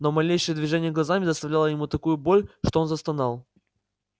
но малейшее движение глазами доставляло ему такую боль что он застонал